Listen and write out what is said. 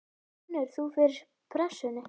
Finnur þú fyrir pressunni?